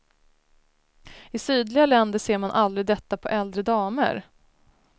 I sydliga länder ser man aldrig detta på äldre damer.